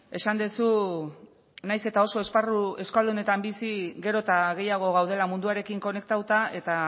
esan duzu nahiz eta oso esparru euskaldunetan bizi gero eta gehiago gaudela munduarekin konektatuta eta